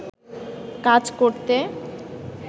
কাজ করতে